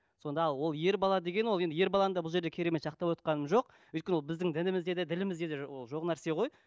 сонда ол ер бала деген ол енді ер баланы да бұл жерде керемет жақтап отырғаным жоқ өйткені ол біздің дінімізде де ділімізде де ол жоқ нәрсе ғой